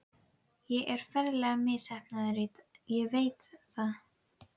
Ég er ferlega misheppnaður, ég veit það.